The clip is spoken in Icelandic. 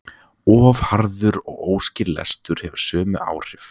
Of hraður og óskýr lestur hefur sömu áhrif.